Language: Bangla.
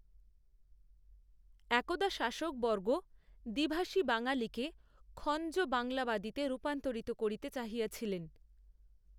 একদা শাসকবর্গ দ্বিভাষী বাঙালিকেখঞ্জ বাংলাবাদীতে রূপান্তরিত করিতে চাহিয়াছিলেন